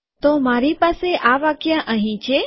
તો મારી પાસે આ વાક્ય અહીં છે